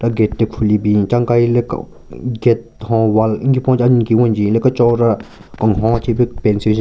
Gate le khuli bin cha nkahile gate hon wall nki ponjin anyu ki wenjin le kechon ra kenhon che pe paint syujen.